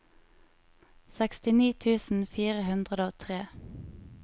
sekstini tusen fire hundre og tre